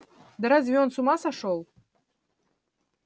да разве он с ума сошёл